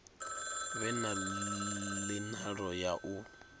vhe na nila ya u